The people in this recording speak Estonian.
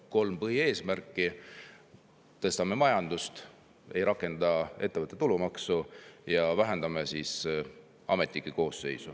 On kolm põhieesmärki: majandust, mitte rakendada ettevõtte tulumaksu ja vähendada ametnike koosseisu.